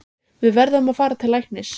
Við verðum að fara til læknis.